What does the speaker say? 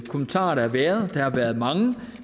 kommentarer der har været der har været mange